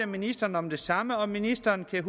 ministeren om det samme og ministeren kan